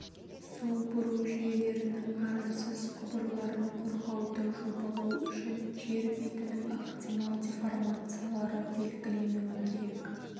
су бұру жүйелерінің арынсыз құбырларын қорғауды жобалау үшін жер бетінің ықтимал деформациялары белгіленуі керек